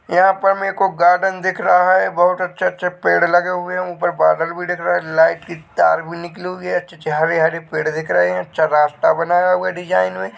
यहां पर मेरे को गार्डन दिख रहा है बहुत अच्छे-अच्छे पेड़ लगे हुए हैं ऊपर बादल भी दिख रहा है लाइट की तार भी निकली हुई है अच्छे-अच्छे हरे हरे पेड़ भी दिख रहे हैं अच्छा रास्ता बना हुआ है डिजाइन में